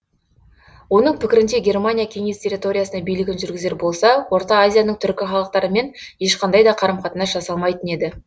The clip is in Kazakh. оның пікірінше германия кеңес территориясына билігін жүргізер болса орта азияның түркі халықтарымен ешқандай да қарым қатынас жасалмайтын еді